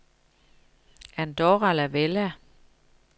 Andorra la Vella